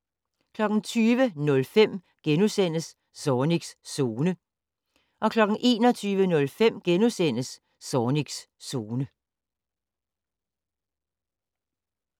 20:05: Zornigs Zone * 21:05: Zornigs Zone *